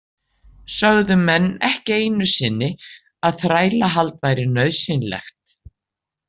Sögðu menn ekki einu sinni að þrælahald væri nauðsynlegt.